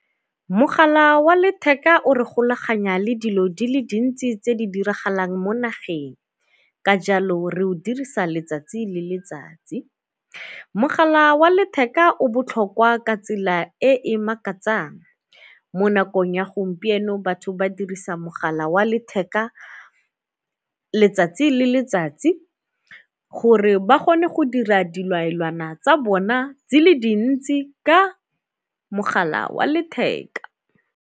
Mogala wa letheka o re golaganya le dilo di le dintsi tse di diragalang mo nageng ka jalo re o dirisa letsatsi le letsatsi. Mogala wa letheka o botlhokwa ka tsela e makatsang. Mo nakong ya gompieno batho ba dirisa mogala wa letheka letsatsi le letsatsi gore ba kgone go dira di tsa bona di le dintsi ka mogala wa letheka.